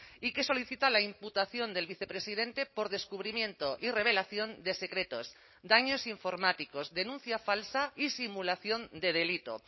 y que solicita la imputación del vicepresidente por descubrimiento y revelación de secretos daños informáticos denuncia falsa y simulación de delito